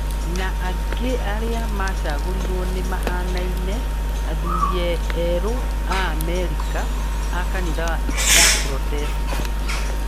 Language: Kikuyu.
Na aingĩ arĩa macagũrirwo nĩ mahanaine: athuri, erũ, Aamerika, a kanitha ya protestanti